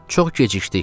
Çox gecikdik.